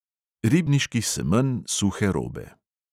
Ribniški semenj suhe robe.